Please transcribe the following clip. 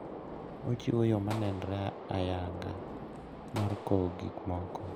Ochiwo yo ma nenre ayanga mar kowo gik moko.